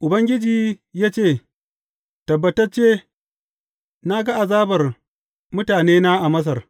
Ubangiji ya ce, Tabbatacce na ga azabar mutanena a Masar.